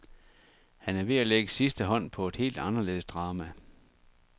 Han er ved at lægge sidste hånd på et helt anderledes drama.